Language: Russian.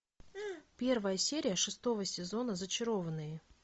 первая серия шестого сезона зачарованные